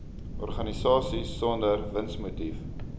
organisasies sonder winsmotief